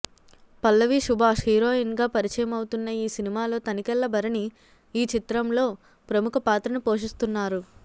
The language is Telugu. పల్లవి సుభాష్ హీరోయిన్గా పరిచయమవుతున్న ఈ సినిమాలో తనికెళ్ళభరణి ఈ చిత్రంలో ప్రముఖ పాత్రను పోషిస్తున్నారు